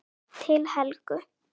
Til Helgu.